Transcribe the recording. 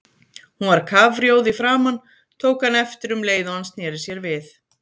Hún var kafrjóð í framan, tók hann eftir um leið og hann sneri sér við.